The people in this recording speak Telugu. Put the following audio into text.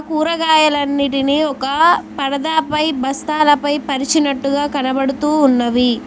కూరగాయలన్నిటిని ఒక పడదాపై బస్తాలపై పరిచినట్టుగా కనబడుతూ ఉన్నవి.